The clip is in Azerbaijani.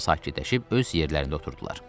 sakitləşib öz yerlərində oturdular.